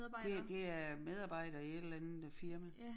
Det det er medarbejdere i et eller andet firma